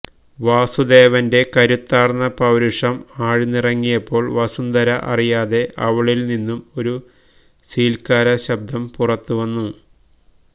വാസുദേവന്റെ കരുത്താർന്ന പൌരുഷം ആഴ്ന്നിറങ്ങിയപ്പോൾ വസുന്ധര അറിയാതെ അവളിൽ നിന്നും ഒരു സീൽക്കാരശബ്പുറത്തുവന്നു